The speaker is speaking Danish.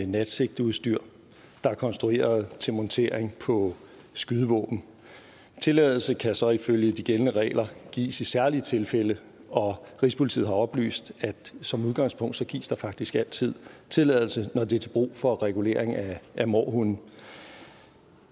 natsigteudstyr der er konstrueret til montering på skydevåben tilladelse kan så ifølge de gældende regler gives i særlige tilfælde og rigspolitiet har oplyst at som udgangspunkt gives der faktisk altid tilladelse når det er til brug for regulering af mårhunde